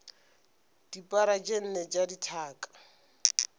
dipara tše nne tša dithaka